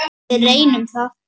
Við reynum það.